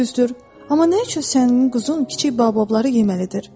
Düzdür, amma nə üçün sənin quzun kiçik Baobabları yeməlidir?